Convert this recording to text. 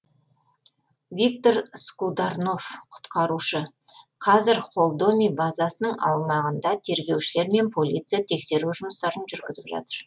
виктор скударнов құтқарушы қазір холдоми базасының аумағында тергеушілер мен полиция тексеру жұмыстарын жүргізіп жатыр